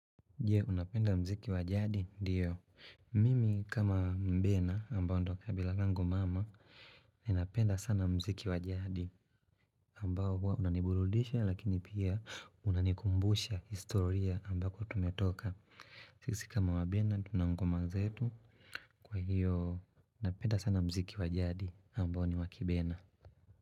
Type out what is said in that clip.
Je, unapenda mziki wa jadi? Ndiyo. Mimi kama mbena ambao ndo kabila lango mama, ninapenda sana mziki wa jadi. Ambao huwa unaniburudisha lakini pia unanikumbusha historia ambako tumetoka. Sisi kama wabena tuna ngoma zetu kwa hiyo napenda sana mziki wa jadi ambao ni wakibena.